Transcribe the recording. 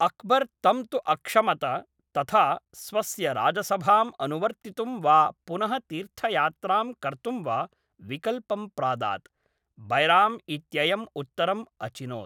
अक्बर् तं तु अक्षमत तथा स्वस्य राजसभाम् अनुवर्तितुं वा पुनः तीर्थयात्रां कर्तुं वा विकल्पं प्रादात्, बैराम् इत्ययम् उत्तरम् अचिनोत्।